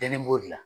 Ɲɛnɛ b'o de la